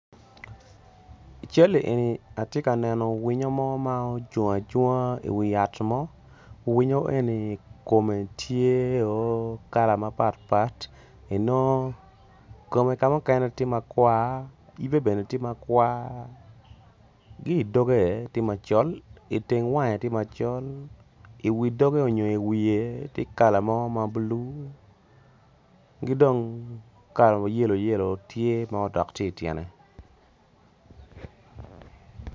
I cal-li eni ati ka neno winy mo ma ocung acunga i wi yat mo winyo eni kome tyeo kala mapatpat enongo kome ka mukene tye makwar yibe tye makwar ki i dogge ti macol iteng wange tye macol i wi dogge onyo iwiye ti kala mo ma bulu ki dong kala mogo ma yelo yelo tye madok tung i tyene